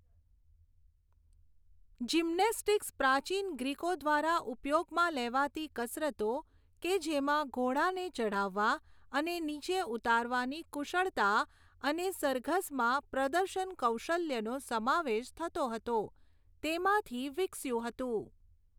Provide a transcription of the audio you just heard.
Gymnastics પ્રાચીન ગ્રીકો દ્વારા ઉપયોગમાં લેવાતી કસરતો, કે જેમાં ઘોડાને ચઢાવવા અને નીચે ઉતારવાની કુશળતા અને સરઘસમાં પ્રદર્શન કૌશલ્યોનો સમાવેશ થતો હતો, તેમાંથી વિકસ્યું હતું.